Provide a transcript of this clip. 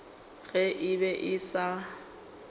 ge e be e sa